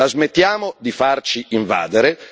La smettiamo di farci invadere?